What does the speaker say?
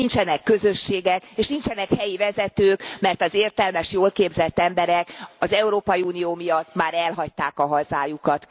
Nincsenek közösségek, és nincsenek helyi vezetők, mert az értelmes, jól képzett emberek az Európai Unió miatt már elhagyták a hazájukat.